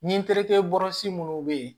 Ni n terikɛ bɔrɔsi minnu bɛ yen